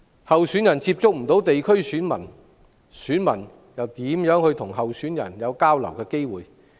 候選人無法接觸地區選民，選民又怎會有機會與候選人交流？